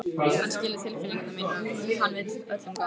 Hann skilur tilfinningar mínar, hann vill öllum gott.